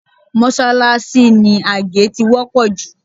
Mọ́ṣáláṣí ni àgé ti wọ́pọ̀ jù